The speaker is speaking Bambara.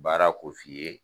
Baara ko f'i ye